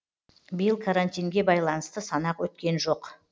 биыл карантинге байланысты санақ өткен жоқ